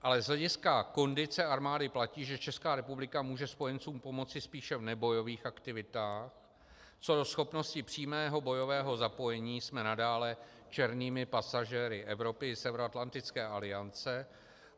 Ale z hlediska kondice armády platí, že Česká republika může spojencům pomoci spíše v nebojových aktivitách, co do schopnosti přímého bojového zapojení jsme nadále černými pasažéry Evropy i Severoatlantické aliance.